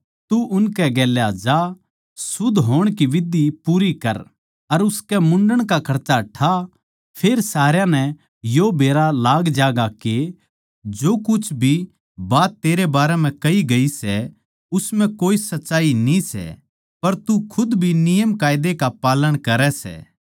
तू उनकै गेल जा शुद्ध होण की विधि पूरी कर अर उसकै मुण्डन का खर्चा ठा फेर सारया नै यो बेरा लाग ज्यागा के जो कुछ भी बात तेरै बारै म्ह कह्या गया सै उस म्ह कोए सच्चाई न्ही सै पर तू खुद भी नियमकायदे का पालन करै सै